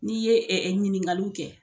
N'i ye ɛ ɛ ɲininkaliw kɛ